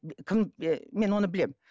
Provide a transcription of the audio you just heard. кім ііі мен оны білемін